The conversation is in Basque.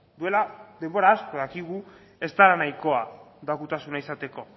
duela denbora asko dakigu ez dela nahikoa doakotasuna izateko